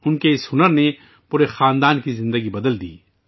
ان کی قابلیت نے پورے خاندان کی زندگی بدل کر رکھ دی